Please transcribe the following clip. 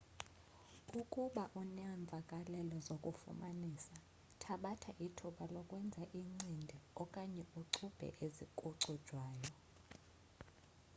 ukuba unemvakalelo zokufumanisa thabatha ithuba lokwenza incindi okanye ucubhe ezicujwayo